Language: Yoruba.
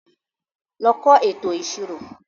Lọ kọ́ ètò ìṣirò.